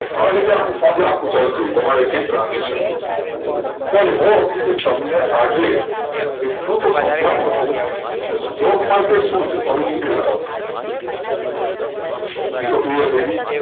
આ રીતે આખું આખું ચાલતું હોય તમારે i hope તમને આજે એટલું તોહ સાંજનું હશે કે stock market સુ છે સૌથી પહેલાં કાઉ ઈ તો clear થયી ગયું